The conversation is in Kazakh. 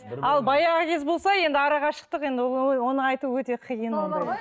ал баяғы кез болса енді арақашықтық енді ол ой оны айту өте қиын енді